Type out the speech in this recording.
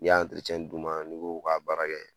N'i y'a d'u ma n'i k'o ka baara kɛ